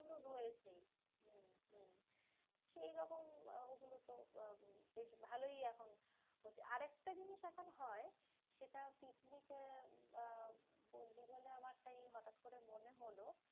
সেগুলো রয়েছেই, হম হম সেইরকম ওগুলোতো আহ বেশ ভালোই এখন। আরেকটা জিনিস এখন হয়, সেটা পিকনিকে বা বললি বলে আমার তাই হটাৎ করে মনে হলো,